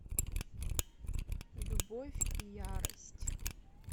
любовь и ярость